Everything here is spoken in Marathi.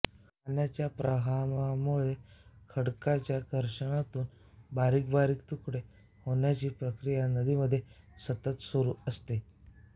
पाण्याच्या प्रवाहामुळे खडकाच्या घर्षणातून बारीक बारीक तुकडे होण्याची प्रक्रिया नदीमध्ये सतत सुरू असते